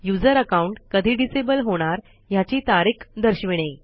user account कधी disable होणार ह्याची तारीख दर्शविणे